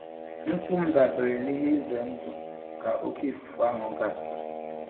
Nkwụ m dabere n'ihe ize ndụ ka oké ifufe ahụ gasịrị.